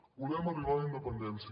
volem arribar a la independència